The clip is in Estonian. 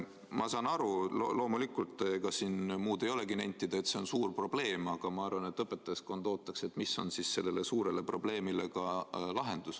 Ma saan aru, loomulikult, ega siin muud ei olegi nentida, et see on suur probleem, aga ma arvan, et õpetajaskond ootab, mis on selle suure probleemi lahendus.